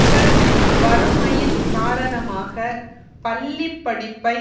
இவர் வறுமையின் காரணமாக பள்ளி படிப்பை